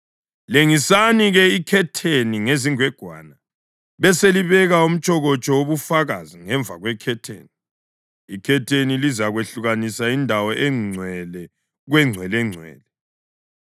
Lengisani-ke ikhetheni ngezingwegwana beselibeka umtshokotsho wobufakazi ngemva kwekhetheni. Ikhetheni lizakwehlukanisa Indawo Engcwele kweNgcwelengcwele.